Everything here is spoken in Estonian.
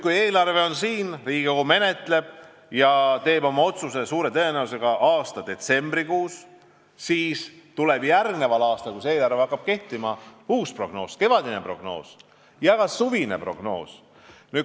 Kui Riigikogu siin eelarvet menetleb ja teeb oma otsuse suure tõenäosusega detsembris, siis tuleb järgmisel aastal, kui eelarve hakkab kehtima, uus prognoos, tuleb kevadine prognoos ja ka suvine prognoos.